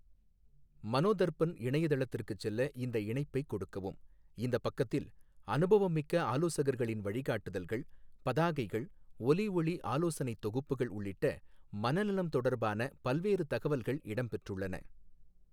மனோதர்பன் இணையதளத்திற்கு செல்ல இந்த இணைப்பை கொடுக்கவும் இந்தப் பக்கத்தில், அனுபவமிக்க ஆலோசகர்களின் வழிகாட்டுதல்கள், பதாகைகள், ஒலி ஔி ஆலோசனைத் தொகுப்புகள் உள்ளிட்ட மனநலம் தொடர்பான பல்வேறு தகவல்கள் இடம் பெற்றுள்ளன.